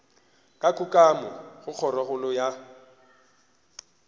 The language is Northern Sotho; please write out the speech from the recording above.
ka kukamo go kgorokgolo ya